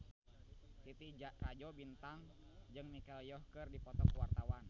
Titi Rajo Bintang jeung Michelle Yeoh keur dipoto ku wartawan